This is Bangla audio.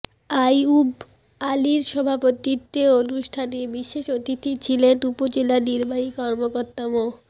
আইয়ুব আলীর সভাপতিত্বে অনুষ্ঠানে বিশেষ অতিথি ছিলেন উপজেলা নির্বাহী কর্মকর্তা মো